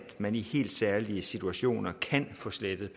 man i helt særlige situationer kan få slettet